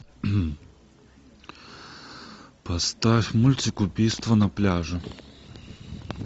поставь мультик убийство на пляже